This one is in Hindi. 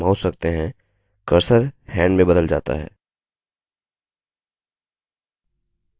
जब आप इन bullet प्वॉइंट्स के आसपास mouse रखते हैं cursor hand में बदल जाता है